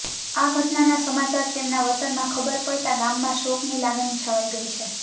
આ ઘટનાના સમાચાર તેમના વતનમાં ખબર પડતાં ગામમાં શોકની લાગણી છવાઈ ગઈ છે